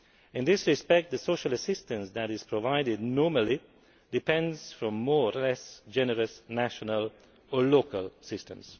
In this respect, the social assistance that is provided normally depends on more or less generous national or local systems.